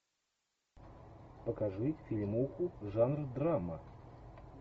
покажи фильмуху жанр драма